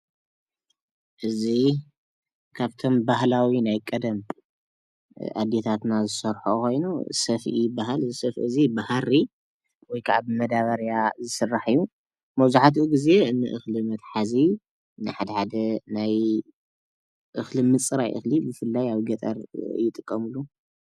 እዚ ካብቶም ባህላዊ ናይ ቀደም ኣዴታትና ዝሰርሐኦ ኮይኑ ሰፍኢ ይብሃል። እዚ ሰፍኢ እዚ ብሃሪ ወይከዓ ብማዳበሪያ ዝስራሕ እዩ። መብዛሕቲኡ ግዘ ንእክሊ መትሐዚ ንሓደ ሓደ ናይ እክሊ ምፅራይ እክሊ ብፍላይ ኣብ ገጠር ይጥቀምሉ።